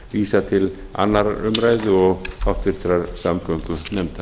vísað til annarrar umræðu og háttvirtrar samgöngunefndar